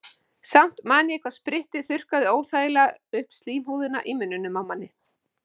Samt man ég hvað sprittið þurrkaði óþægilega upp slímhúðina í munninum á manni.